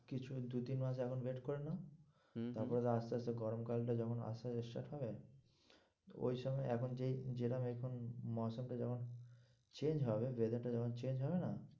কিছুদিন দু-তিন মাযেমস এখন wait করে নাও হম হম তারপরে আস্তে আস্তে গরমকালটা যখন আসে শেষ হবে ওই সময় এখন যেই যেরম এখন যেমন change হবে weather টা যখন change হবে না।